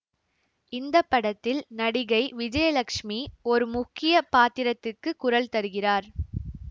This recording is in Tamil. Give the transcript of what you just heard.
இந்த படத்தில் நடிகை விஜயலட்சுமி ஒரு முக்கிய பாத்திரத்துக்கு குரல் தருகிறார்